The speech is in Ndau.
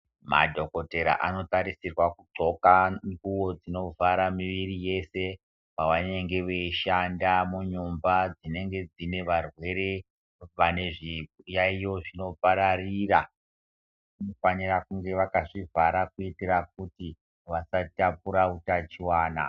Madhokotera ano tarisirwa ku ndxoka nguvo dzino vhara muviri yeshe pavanenge vei shanda mu mumba dzinenge dzine zvarwere vane zviyayiyo zvino pararira vano fanirara kunge vakazvi vhara kuti vasa batira utachiwana.